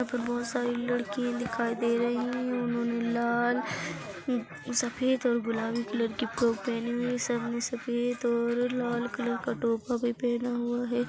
यहां पर बहुत सारी लड़की दिखाई दे रही है और उन्होंने लाल सफेद और गुलाबी कलर की फ्रोक पहने हुए है सबने सफेद और लाल कलर का टोपा भी पहना हुआ है।